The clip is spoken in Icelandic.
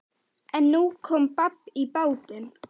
En nú kom babb í bátinn.